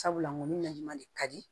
Sabula nko ni layi ma de ka di